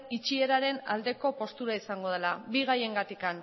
itxieraren aldeko postura izango dela bi gaiengatik